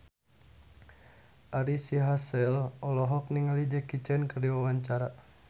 Ari Sihasale olohok ningali Jackie Chan keur diwawancara